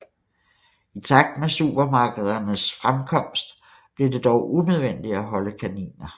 I takt med supermarkedernes fremkost blev det dog unødvendigt at holde kaniner